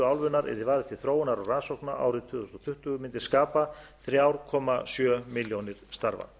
álfunnar yrði varið til þróunar og rannsókna árið tvö þúsund tuttugu mundi skapa þrjú komma sjö milljónir starfa